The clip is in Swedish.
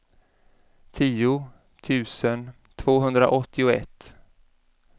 tio tusen tvåhundraåttioett